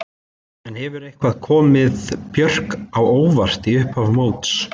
En hefur eitthvað komið Björk á óvart í upphafi móts?